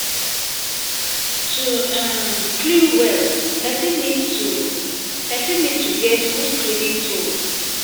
To um clean well, person need to person need to get good cleaning tools